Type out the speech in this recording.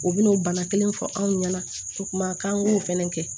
U bɛna o bana kelen fɔ anw ɲɛna kumakan o fana kɛ